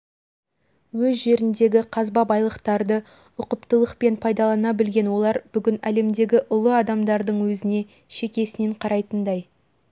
жүргізушілердің бірі бұған қабақ шытпай тоқтап тұрады ғылым білім мәдениет саласынан да ешкімнен кем емес негізгі